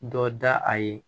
Dɔ da a ye